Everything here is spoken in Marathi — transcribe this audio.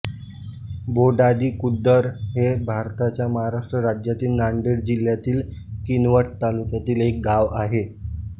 बोधाडी खुर्द हे भारताच्या महाराष्ट्र राज्यातील नांदेड जिल्ह्यातील किनवट तालुक्यातील एक गाव आहे